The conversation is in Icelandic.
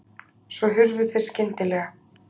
Svo hurfu þeir skyndilega.